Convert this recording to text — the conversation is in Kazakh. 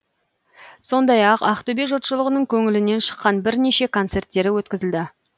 сондай ақ ақтөбе жұртшылығының көңілінен шыққан бірнеше концерттері өткізілді